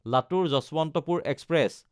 লাতুৰ–যশৱন্তপুৰ express